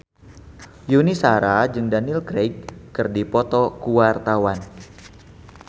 Yuni Shara jeung Daniel Craig keur dipoto ku wartawan